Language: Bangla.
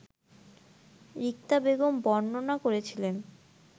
রিক্তা বেগম বর্ণনা করছিলেন